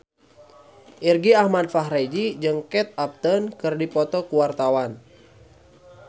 Irgi Ahmad Fahrezi jeung Kate Upton keur dipoto ku wartawan